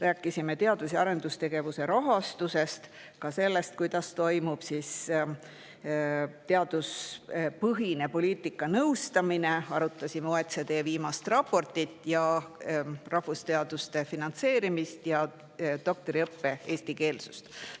Rääkisime teadus- ja arendustegevuse rahastusest, ka sellest, kuidas toimub teaduspõhine poliitikanõustamine, arutasime OECD viimast raportit, rahvusteaduste finantseerimist ja doktoriõppe eestikeelsust.